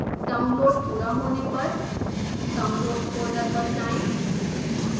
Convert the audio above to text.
download पूरा होने पर downloads फोल्डर पर जाएँ